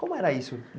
Como era isso?